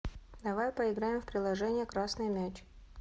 давай поиграем в приложение красный мяч